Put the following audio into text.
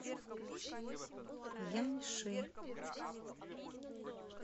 яньши